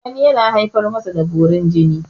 wani yana haifar masa da borin jini